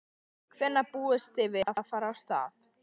Hvenær búist þið við að fara af stað?